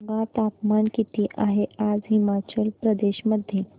सांगा तापमान किती आहे आज हिमाचल प्रदेश मध्ये